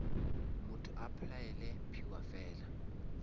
motho a applyele mphiwafela